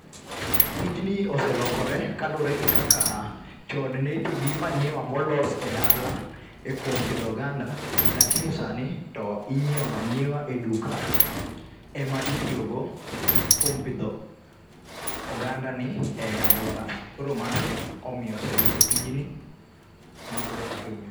Tijni oselokore kaluore gi kaka chon neitiyo gi manyuwa molos e dala e kuom pidho oganda lakini sani to inyiew manyiwa e duka ema itiyo go kuom pidho oganda ni e aluora na. Koro mano omiyo oseloko tijni mathoth ahinya